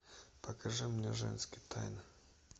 покажи мне женские тайны